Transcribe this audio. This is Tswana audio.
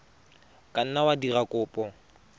ka nna wa dira kopo